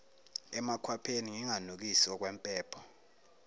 emakhwapheni nginganukisi okwempongo